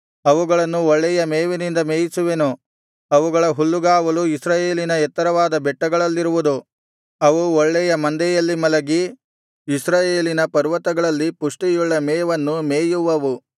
ಅವುಗಳನ್ನು ಒಳ್ಳೆಯ ಮೇವಿನಿಂದ ಮೇಯಿಸುವೆನು ಅವುಗಳ ಹುಲ್ಲುಗಾವಲು ಇಸ್ರಾಯೇಲಿನ ಎತ್ತರವಾದ ಬೆಟ್ಟಗಳಲ್ಲಿರುವುದು ಅವು ಒಳ್ಳೆಯ ಮಂದೆಯಲ್ಲಿ ಮಲಗಿ ಇಸ್ರಾಯೇಲಿನ ಪರ್ವತಗಳಲ್ಲಿ ಪುಷ್ಟಿಯುಳ್ಳ ಮೇವನ್ನು ಮೇಯುವವು